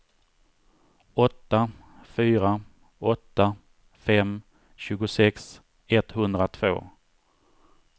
åtta fyra åtta fem tjugosex etthundratvå